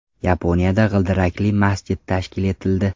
Yaponiyada g‘ildirakli masjid tashkil etildi.